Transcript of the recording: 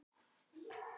Nokkur orð frá ömmu.